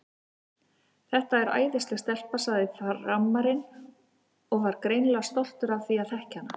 Þetta er æðisleg stelpa, sagði Frammarinn og var greinilega stoltur af því að þekkja hana.